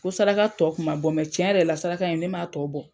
Ko saraka tɔ kun ma bɔ tiɲɛ yɛrɛ la saraka in ye ne m'a tɔ bɔ.